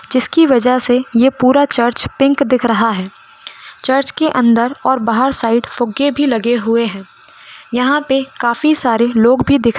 जिसकी वजह से यह पूरा चर्च पिंक दिख रहा है चर्च के अन्दर और बाहर साइड फुग्गे भी लगे हुए है यहाँ पे काफी सारे लोग भी दिख --